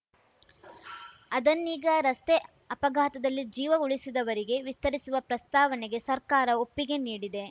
ಅದನ್ನೀಗ ರಸ್ತೆ ಅಪಘಾತದಲ್ಲಿ ಜೀವ ಉಳಿಸಿದವರಿಗೆ ವಿಸ್ತರಿಸುವ ಪ್ರಸ್ತಾವನೆಗೆ ಸರ್ಕಾರ ಒಪ್ಪಿಗೆ ನೀಡಿದೆ